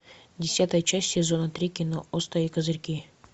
десятая часть сезона три кино острые козырьки